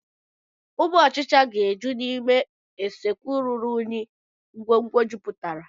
Ụmụ ọchicha ga-eju n'ime usekwu ruru unyi ngwongwo jupụtara.